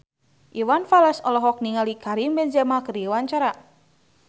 Iwan Fals olohok ningali Karim Benzema keur diwawancara